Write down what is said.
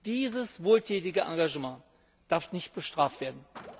Dieses wohltätige Engagement darf nicht bestraft werden.